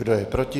Kdo je proti?